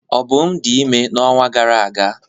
Obum dị ime n'ọnwa gara aga.